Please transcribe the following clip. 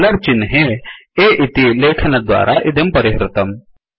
dollar चिह्ने A इति लेखनद्वारा इदं परिहृतम्